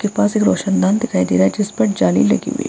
के पास एक रौशनदान दिखाई दे रहा है जिस पर जाली लगी हुई है।